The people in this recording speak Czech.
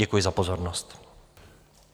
Děkuji za pozornost.